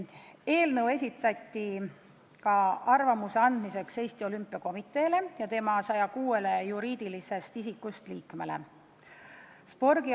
Eelnõu esitati arvamuse andmiseks ka Eesti Olümpiakomiteele ja tema 106-le juriidilisest isikust liikmele.